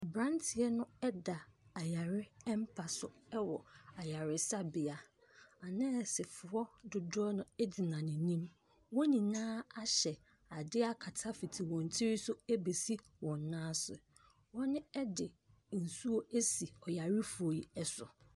Aberanteɛ no da ayaremapa so wɔ ayaresabea. Anɛɛsefoɔ dodoɔ n gyina n'anim. Wɔn nyinaa ahyɛ adeɛ akata fiti wɔn tiri so bɛsi wɔn nan ase. Wɔde nsuo asi ɔyarefoɔ yi so.